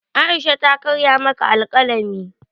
Aisha ta karya maka alkalami